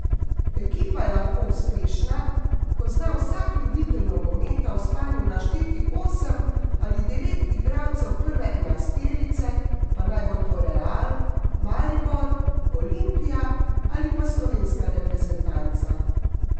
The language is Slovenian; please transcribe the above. Ekipa je lahko uspešna, ko zna vsak ljubitelj nogometa v spanju našteti osem ali devet igralcev prve enajsterice, pa naj bo to Real, Maribor, Olimpija ali pa slovenska reprezentanca.